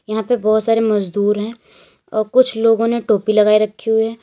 यहां पे बहुत सारे मजदूर है और कुछ लोगों ने टोपी लगाई रखी हुई है।